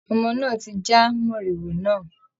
Ọmọ náà ti já mòrìwò náà.